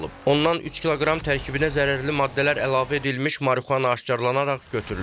Ondan 3 kiloqram tərkibinə zərərli maddələr əlavə edilmiş marixuana aşkar olunaraq götürülüb.